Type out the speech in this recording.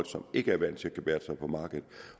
som ikke er vant til at gebærde sig på markedet